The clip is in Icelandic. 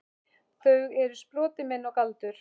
Þau eru sproti minn og galdur.